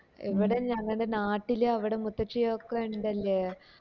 ഇവിടേം ഞങ്ങടെ നാട്ടില് അവിടെ മുത്തശ്ശി ഒക്കെ ഇണ്ടല്ലേ